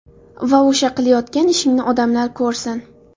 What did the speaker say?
Va o‘sha qilayotgan ishingni odamlar ko‘rsin.